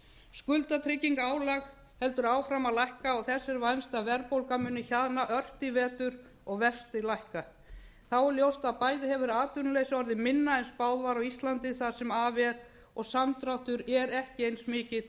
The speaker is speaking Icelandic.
skuldatryggingarálag heldur áfram að lækka og þess er vænst að verðbólga muni hjaðna ört í vetur og vextir lækka þá er ljóst að það sem af er hefur bæði atvinnuleysi á íslandi orðið minna en spáð var og samdráttur er ekki eins